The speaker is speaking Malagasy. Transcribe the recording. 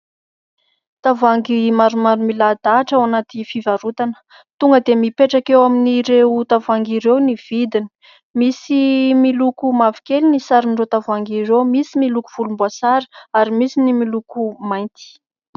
Tavoahangy maromaro milahadahatra ao anaty fivarotana. Tonga dia mipetraka eo amin'ireo tavoahangy ireo ny vidiny. Misy miloko mavokely ny sarin'ireo tavoahangy ireo, misy miloko volomboasary, ary misy ny miloko mainty.